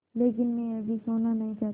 लेकिन मैं अभी सोना नहीं चाहता